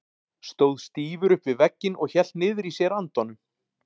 Stóð stífur upp við vegginn og hélt niðri í sér andanum.